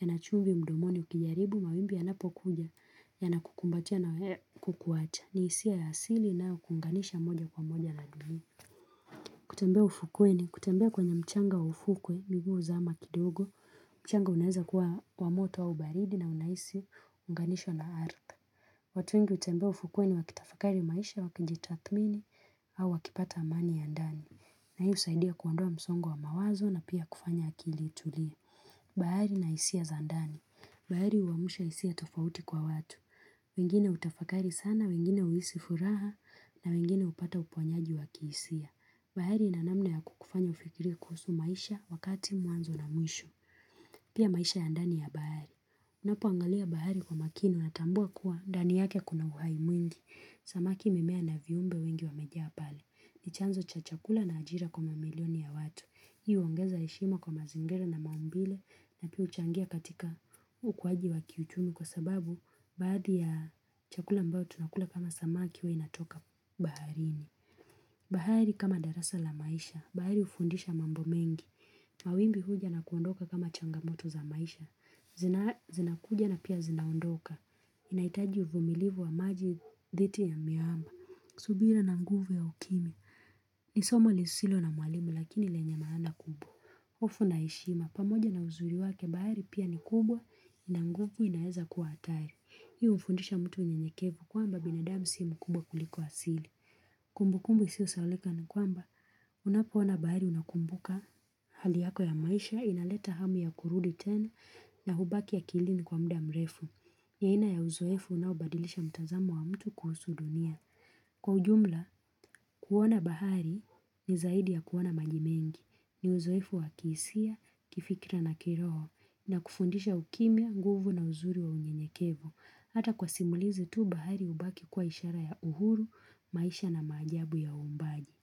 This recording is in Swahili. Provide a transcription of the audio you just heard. ya nachumbi mdomoni ukijaribu, mawimbi ya napokuja, ya nakukumbatiana kukuwacha. Ni isia ya asili inayo kuunganisha moja kwa moja na dunia. Kutembea ufukweni, kutembea kwenye mchanga wa ufukwe, miguu huzama kidogo, mchanga unaeza kuwa wa moto au baridi na unahisi kuunganishwa na ardhi. Watu wengi utembea ufukweni wakitafakari maisha wakijitathmini au wakipata amani ya ndani. Na hii husaidia kuondoa msongo wa mawazo na pia kufanya akili itulie. Bahari na isia za ndani. Bahari huwamsha isia tofauti kwa watu. Wengine hutafakari sana, wengine huisi furaha na wengine upata uponyaji wakihisia. Bahari inanamna ya kukufanya ufikirie kuhusu maisha wakati mwanzo na mwisho. Pia maisha ya ndani ya bahari. Napoangalia bahari kwa makini unatambua kuwa ndani yake kuna uhai mwingi. Samaki mimea na viumbe wengi wamejaa pale. Ni chanzo cha chakula na ajira kwa mamilioni ya watu. Hi huongeza heshima kwa mazingira na maumbile na pia huchangia katika ukuaji wa kiuchumi kwa sababu baadhi ya chakula ambao tunakula kama samaki huwa inatoka baharini. Bahari kama darasa la maisha. Bahari ufundisha mambo mengi. Mawimbi huja na kuondoka kama changamoto za maisha. Zinakuja na pia zinaondoka. Inaitaji uvumilivu wa maji dhiti ya miamba subira na nguvu ya ukimya Nisomo lisilo na mwalimu lakini lenye maana kubwa hofu na heshima pamoja na uzuri wake bahari pia ni kubwa na nguvu inaeza kuwa hatari Hii hufundisha mtu unye nyekevu kwamba binadamu si mkubwa kuliko asili Kumbu kumbu isio sahaulika ni kwamba unapoona bahari unakumbuka Hali yako ya maisha inaleta hamu ya kurudi tena na hubaki akilini kwa mda mrefu ni aina ya uzoefu unaobadilisha mtazamo wa mtu kuhusu dunia. Kwa ujumla, kuona bahari ni zaidi ya kuona maji mengi. Ni uzoefu wa kihisia, kifikira na kiroho na kufundisha ukimya, nguvu na uzuri wa unyenyekevu. Hata kwa simulizi tu bahari hubaki kuwa ishara ya uhuru, maisha na maajabu ya uumbaji.